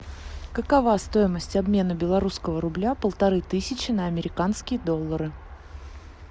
какова стоимость обмена белорусского рубля полторы тысячи на американские доллары